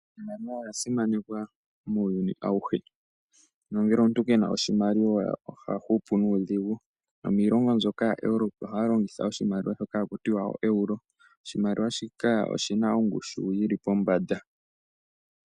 Iimaliwa oya simanekwa muuyuni auhe nongele omuntu ke na oshimaliwa oha hupu nuudhigu. Miilongo mbyoka yaEuropa ohaya longitha iimaliwa mbyoka haku tiwa ooeuro. Oshimaliwa shika oshi na ongushu yi li pombanda.